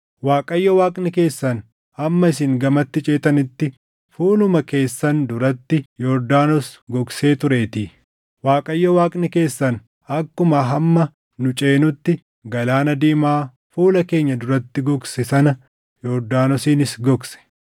Waaqayyo Waaqni keessan hamma isin gamatti ceetanitti fuuluma keessan duratti Yordaanos gogsee tureetii. Waaqayyo Waaqni keessan akkuma hamma nu ceenutti Galaana Diimaa fuula keenya duratti gogse sana Yordaanosiinis gogse.